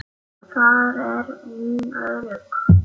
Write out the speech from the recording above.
Þar er hún örugg.